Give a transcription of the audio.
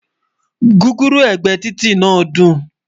gúgúrú ẹgbẹ Títí nà dùn